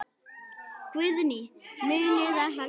Guðný: Munið þið halda áfram?